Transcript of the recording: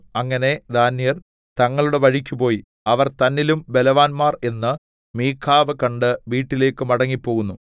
അങ്ങനെ ദാന്യർ തങ്ങളുടെ വഴിക്ക് പോയി അവർ തന്നിലും ബലവാന്മാർ എന്നു മീഖാവ് കണ്ട് വീട്ടിലേക്ക് മടങ്ങിപ്പോന്നു